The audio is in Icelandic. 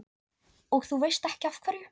Og þú veist ekki af hverju?